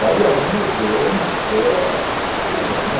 Daí alguém ousou, mostrou, ah, e por aí vai, né